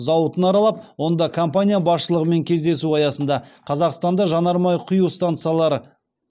зауытын аралап онда компания басшылығымен кездесу аясында қазақстанда жанармай құю станциялары